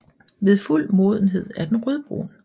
Ved fuld modenhed er den rødbrun